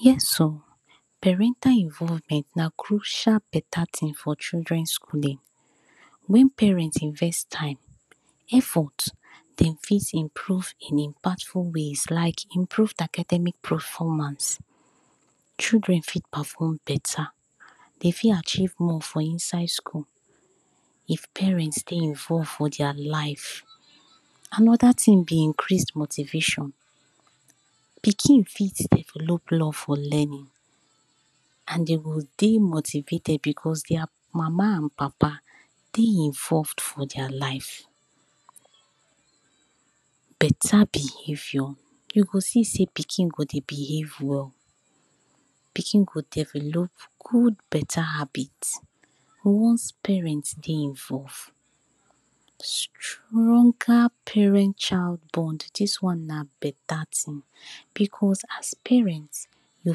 Yes o! parental invovment na crushal beta tin for children skulin, wen parent invest time, efot dem fit improve in impactful ways like improv academic paformance, children fit pafom beta, dem fit achieve more for inside skul, if parent dey invove for dia life. Anoda tin be increase motivation, pikin fit develop love for lenin and dem go dey motivated becos dia mama and papa dey invove for dia life. Beta behavior, you go see sey pikin go dey behave well, pikin go develop gud beta habit. Once parent dey invov, stronga parent child bond, dis one na beta tin becos, as parent dey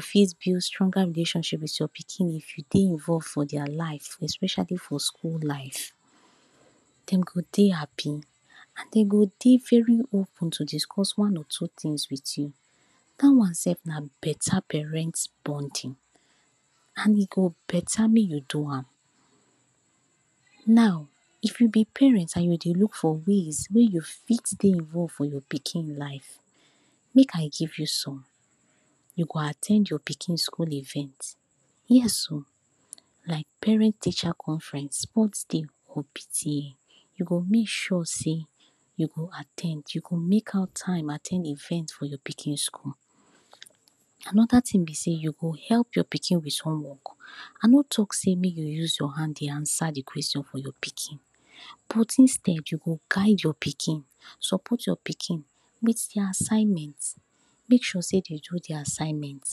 fit build sronga relationship with your pikin, you dey invov for dia life especiali for skul life, de go dey hapi and de go dey veri open to discos one or two tin with you, da one sef na beta parental bondin and e go beta mey you do am. now, If you be parent and you dey luk for ways wey you fit invov for your pikin life, make I giv you som, you go at ten d your pikin skul event, yes o,like parent-teacher conference, spot day, or PTA, you go make sure sey, you go at ten d, you go make out time at ten d for di pikin skul. Anoda tin be sey, you go help your pikin with som work, a no talk sey make you use your hand dey ansa the question for your pikin, but instead, you go guide your pikin, sopot your pikin, make dia assignment, make sure sey dey do dia assignment,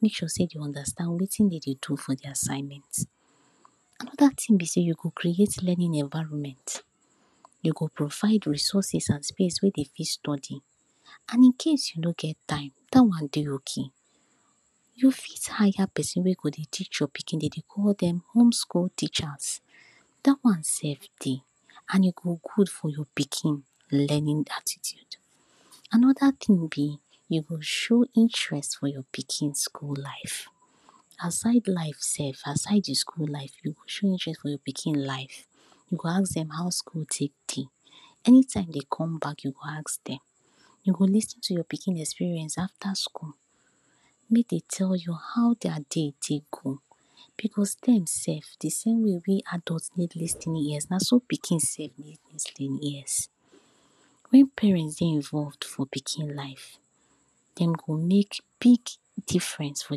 make sure sey dey undastand weytin dm dey do fordi assignment. Anoda tin be sey, you go creat lenin environment, you go provide resources and space wey dem fit study. And in case you no get time, da one dey ok. You fit haya pesin wey go teach your pikin, dem dey call dem home-skul teachers, dat one sef dey and e go gud for your pikin lenin attitude. Anoda tin be, you go show interest for your pikin skul life, aside life, aside the skul life, you go show interest for your pikin life, you go ask dem how skul take dey, eni time dem dey come bak you go ask dem, you go lis ten to your pikin experience afta skul, mey dem tell you, how dia dey take come. Becos dem sef di same way wey adult take get lis ten in ears nasa pikin take get lis ten in ears. Wen parent dey invov for pikin life, dem go make big diference for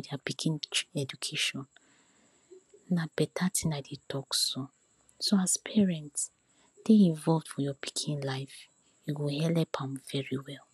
dia pikin educashon, na beta tin I dey talk so, so as parent, dey invov for your pikin life, you go help am veri well.